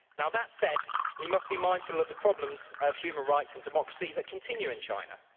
That said, we must be mindful of the problems of human rights and democracy that continue in China.